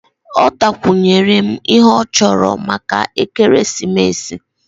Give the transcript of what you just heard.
Ọ takwunyere m ihe ọ chọrọ maka ekeresimesi